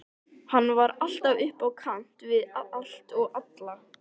Hann var alltaf upp á kant við allt og alla.